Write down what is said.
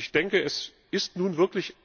Und ich denke, es ist nun wirklich